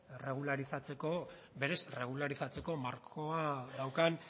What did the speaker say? erregularizatzeko markoa daukan